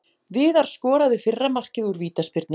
Viðar skoraði fyrra markið úr vítaspyrnu.